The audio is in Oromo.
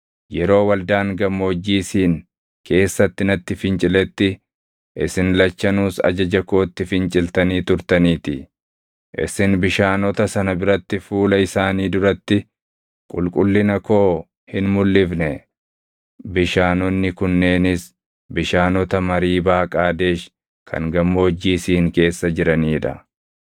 yeroo waldaan Gammoojjii Siin keessatti natti finciletti isin lachanuus ajaja kootti finciltanii turtaniitii. Isin bishaanota sana biratti fuula isaanii duratti qulqullina koo hin mulʼifne.” Bishaanonni kunneenis bishaanota Mariibaa Qaadesh kan Gammoojjii Siin keessa jiranii dha.